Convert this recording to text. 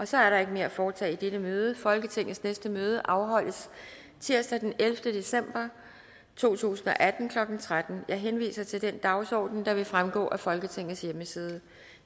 så er der ikke mere at foretage i dette møde folketingets næste møde afholdes tirsdag den ellevte december to tusind og atten klokken tretten jeg henviser til den dagsorden der vil fremgå af folketingets hjemmeside